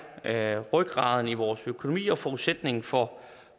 er rygraden i vores økonomi og forudsætningen for